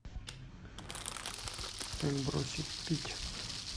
как бросить пить